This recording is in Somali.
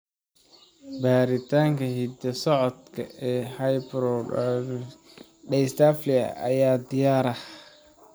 Baaritaanka hidda-socodka ee hypohidrotikabectodermalka dysplasiga ayaa diyaar ah.